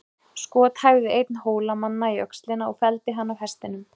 Skot hæfði einn Hólamanna í öxlina og felldi hann af hestinum.